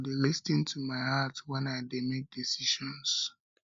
i go dey lis ten to my heart wen i dey make decisions